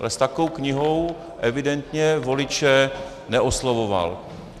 Ale s takovou knihou evidentně voliče neoslovoval.